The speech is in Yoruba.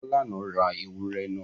Falana ra ewúrẹ́ náà?